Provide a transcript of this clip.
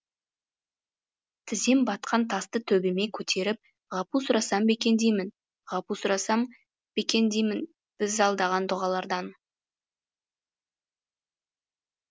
тізем батқан тасты төбеме көтеріп ғапу сұрасам ба екен деймін ғапу сұрасам ба екен деймін біз алдаған дұғалардан